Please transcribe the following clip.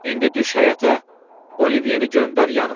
İndi düş həyətə, Olivyeni göndər yanıma.